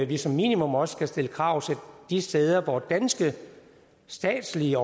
vi som minimum også skal stille krav til de steder hvor danske statslige